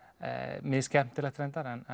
mis skemmtilegt reyndar en